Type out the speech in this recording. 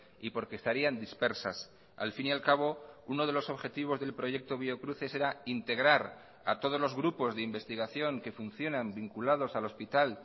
y porque estarían dispersas al fin y al cabo uno de los objetivos del proyecto biocruces erá integrar a todos los grupos de investigación que funcionan vinculados al hospital